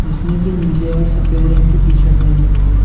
जिसने की नीले और सफेद रंग की टी-शर्ट पहनी हुई है।